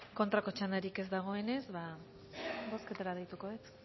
kontrako txandarik ez dagoenez bozketara deituko dut